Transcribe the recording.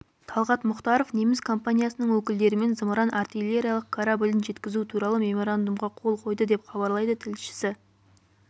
талғат мұхтаров неміс компаниясының өкілдерімен зымыран-артиллериялық кораблін жеткізу туралы меморандумға қол қойды деп хабарлайды тілшісі